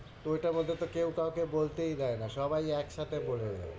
তো ওইটা আপাতত কেউ কাউকে বলতেই দেয়না, সবাই একসাথে বলে দেয়।